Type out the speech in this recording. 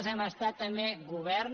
hem estat també govern